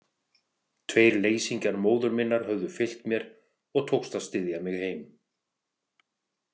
Tveir leysingjar móður minnar höfðu fylgt mér og tókst að styðja mig heim.